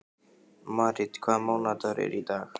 Marít, hvaða mánaðardagur er í dag?